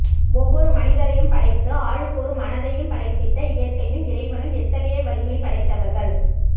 ஒவ்வொரு மனிதரையும் படைத்து ஆளுக்கொரு மனதையும் படைத்திட்ட இயற்கையும் இறைவனும் எத்தகைய வலிமை படைத்தவர்கள்